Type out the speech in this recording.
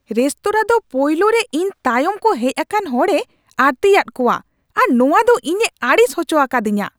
Restaurant ᱫᱚ ᱯᱳᱭᱞᱳ ᱨᱮ ᱤᱧ ᱛᱟᱭᱚᱢ ᱠᱚ ᱦᱮᱡ ᱟᱠᱟᱱ ᱦᱚᱲᱮ ᱟᱹᱲᱛᱤᱭᱟᱜ ᱠᱚᱣᱟ ᱟᱨ ᱱᱚᱶᱟ ᱫᱚ ᱤᱧᱮ ᱟᱹᱲᱤᱥ ᱦᱚᱪᱚ ᱟᱠᱟᱫᱤᱧᱟᱹ ᱾